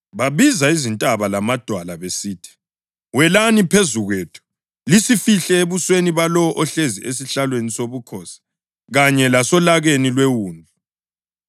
Babiza izintaba lamadwala besithi, “Welani phezu kwethu lisifihle ebusweni balowo ohlezi esihlalweni sobukhosi kanye lasolakeni lweWundlu!